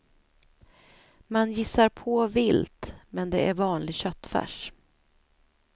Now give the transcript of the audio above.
Man gissar på vilt, men det är vanlig köttfärs.